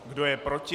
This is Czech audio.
Kdo je proti?